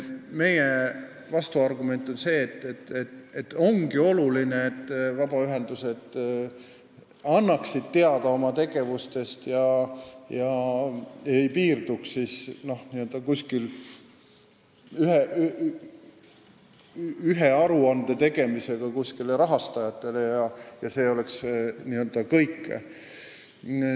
Meie vastuargument on, et see ongi oluline, et vabaühendused annaksid teada oma tegevustest ega piirduks rahastajatele ühe aruande tegemisega, mis olekski kõik.